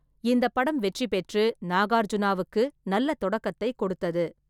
இந்தப் படம் வெற்றி பெற்று நாகார்ஜுனாவுக்கு நல்ல தொடக்கத்தைக் கொடுத்தது.